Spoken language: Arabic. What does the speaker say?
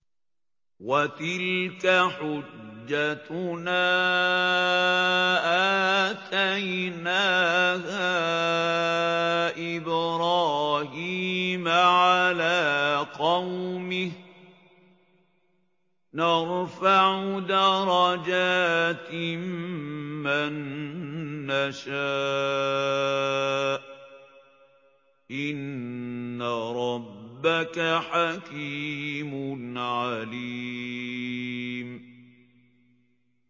وَتِلْكَ حُجَّتُنَا آتَيْنَاهَا إِبْرَاهِيمَ عَلَىٰ قَوْمِهِ ۚ نَرْفَعُ دَرَجَاتٍ مَّن نَّشَاءُ ۗ إِنَّ رَبَّكَ حَكِيمٌ عَلِيمٌ